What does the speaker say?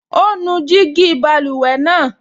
Ó nu gíjí báluwẹ̀ náà